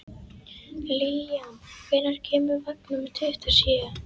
Líam, hvenær kemur vagn númer tuttugu og sjö?